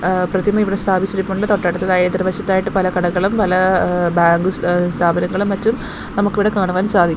ആ പ്രതിമ ഇവിടെ സ്ഥാപിച്ചിരിപ്പൊണ്ട് തൊട്ടടുത്തായി എതിർ വശത്തായ് പല കടകളും പല ഏഹ് ബാങ്ക് സ്ഥാപനങ്ങളും മറ്റും നമുക്കിവിടെ കാണുവാൻ സാധിക്കും.